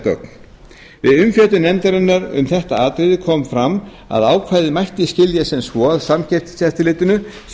gögn við umfjöllun nefndarinnar um þetta atriði kom fram að ákvæðið mætti skilja sem svo að samkeppniseftirlitinu sé